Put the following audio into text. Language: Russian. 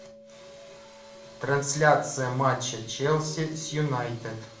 трансляция матча челси с юнайтед